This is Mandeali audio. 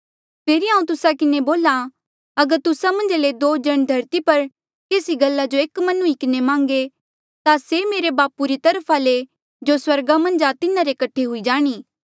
फेरी हांऊँ तुस्सा किन्हें बोल्हा अगर तुस्सा मन्झा ले दो जण धरती पर केसी गल्ला जो एक मन हुई किन्हें मांगे ता से मेरे बापू री तरफा ले जो स्वर्गा मन्झ आ तिन्हारे कठे हुई जाणी